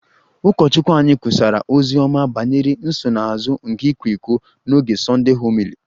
Ụkọchukwu anyị kwusara ozi ọma banyere nsonaazụ nke ịkwa iko n'oge Sunday homily